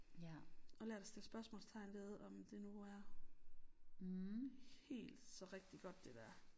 Og lært at stille spørgsmålstegn ved om det nu er helt så rigtig godt det der